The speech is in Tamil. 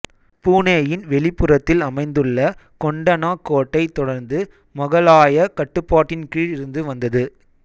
பூனேயின் வெளிப்புறத்தில் அமைந்துள்ள கொண்டனா கோட்டை தொடர்ந்து மொகலாய கட்டுப்பாட்டின் கீழ் இருந்து வந்தது